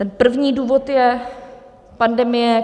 Ten první důvod je pandemie.